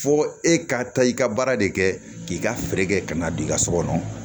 Fo e ka taa i ka baara de kɛ k'i ka feere kɛ ka n'a d'i ka so kɔnɔ